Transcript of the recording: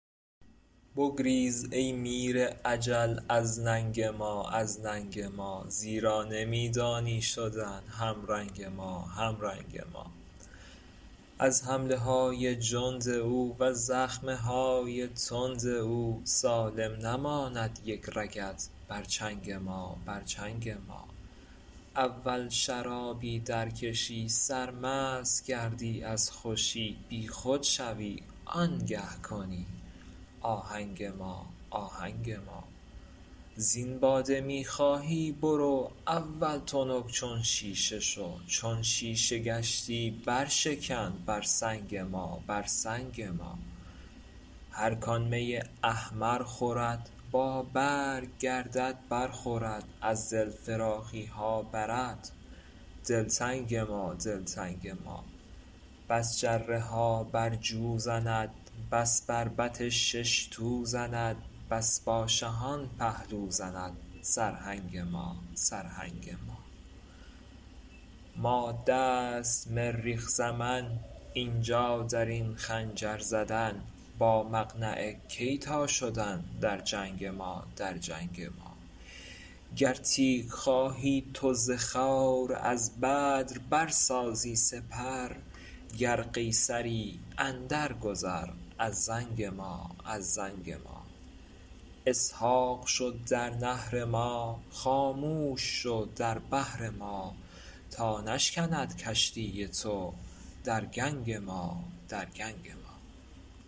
بگریز ای میر اجل از ننگ ما از ننگ ما زیرا نمی دانی شدن همرنگ ما همرنگ ما از حمله های جند او وز زخم های تند او سالم نماند یک رگت بر چنگ ما بر چنگ ما اول شرابی درکشی سرمست گردی از خوشی بیخود شوی آنگه کنی آهنگ ما آهنگ ما زین باده می خواهی برو اول تنک چون شیشه شو چون شیشه گشتی برشکن بر سنگ ما بر سنگ ما هر کان می احمر خورد بابرگ گردد برخورد از دل فراخی ها برد دلتنگ ما دلتنگ ما بس جره ها در جو زند بس بربط شش تو زند بس با شهان پهلو زند سرهنگ ما سرهنگ ما ماده است مریخ زمن این جا در این خنجر زدن با مقنعه کی تان شدن در جنگ ما در جنگ ما گر تیغ خواهی تو ز خور از بدر برسازی سپر گر قیصری اندرگذر از زنگ ما از زنگ ما اسحاق شو در نحر ما خاموش شو در بحر ما تا نشکند کشتی تو در گنگ ما در گنگ ما